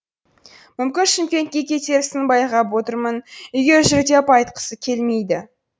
мүмкін шымкентке кетерсің байқап отырмын үйге жүр деп айтқысы келмейді